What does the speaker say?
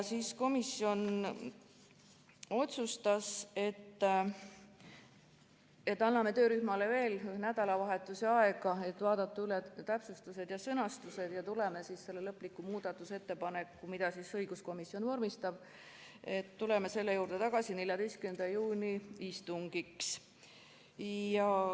Komisjon otsustas, et anname töörühmale veel nädalavahetuse jagu aega, et vaadata üle täpsustused ja sõnastused ning tuleme tagasi lõpliku muudatusettepaneku juurde, mida õiguskomisjon vormistab, 14. juuni istungil.